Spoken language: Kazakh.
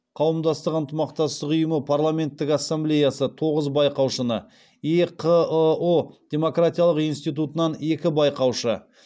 қауымдастық ынтымақтастық ұйымы парламенттік ассемблеясы тоғыз байқаушыны еқыұ демократиялық институтынан екі байқаушы